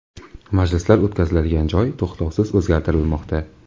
Majlislar o‘tkaziladigan joy to‘xtovsiz o‘zgartirilmoqda.